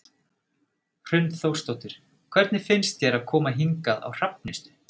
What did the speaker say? Hrund Þórsdóttir: Hvernig finnst þér að koma hingað á Hrafnistu?